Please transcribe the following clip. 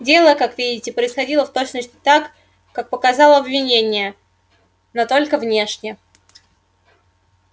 дело как видите происходило в точности так как показало обвинение но только внешне